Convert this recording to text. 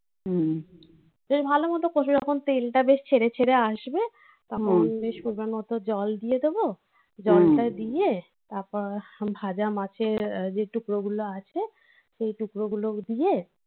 যদি ভালোমতো কষে যখন তেলটা বেশ ছেড়ে ছেড়ে আসবে তখন বেশ করবার মতো জল দিয়ে দেবো জলটা দিয়ে তারপর ভাজা মাছের যে টুকরো গুলো আছে সেই টুকরো গুলো দিয়ে